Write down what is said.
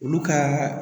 Olu ka